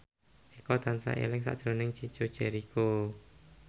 Eko tansah eling sakjroning Chico Jericho